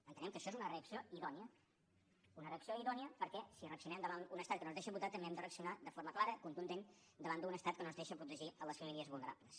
entenem que això és una reacció idònia una reacció idònia perquè si reaccionem davant un estat que no ens deixa votar també hem de reaccionar de forma clara contundent davant d’un estat que no ens deixa protegir les famílies vulnerables